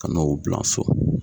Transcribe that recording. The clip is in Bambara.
Kan'o bilan so.